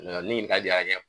N'o tɛ nin ɲiningali bɛɛ ka kɛ